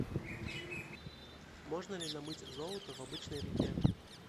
можно ли намыть золото в обычной реке